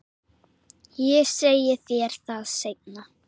Ég segi þér það seinna.